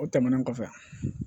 O tɛmɛnen kɔfɛ